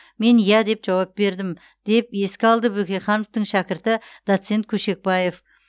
мен иә деп жауап бердім деп еске алды бөкейхановтың шәкірті доцент көшекбаев